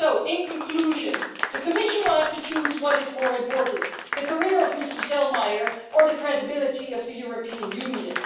In conclusion, the Commission will have to choose what is more important the career of Mr Selmayr or the credibility of the European Union.